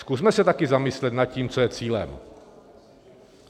Zkusme se taky zamyslet nad tím, co je cílem.